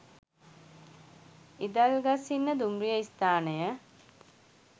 ඉදල්ගස්හින්න දුම්රිය ස්ථානය